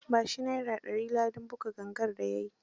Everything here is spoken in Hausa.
Ba shi Naira dari ladan kidan gangar da ya yi.